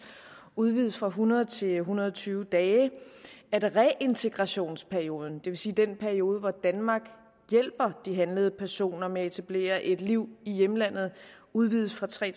udvides fra hundrede dage til en hundrede og tyve dage og at reintegrationsperioden det vil sige den periode hvor danmark hjælper de handlede personer med at etablere et liv i hjemlandet udvides fra tre